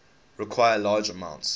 require large amounts